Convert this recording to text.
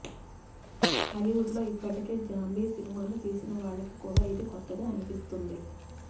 హాలీవుడ్లో ఇప్పటికే జాంబీ సినిమాలు తీసినవాళ్లకి కూడా ఇది కొత్తగా అనిపిస్తుంది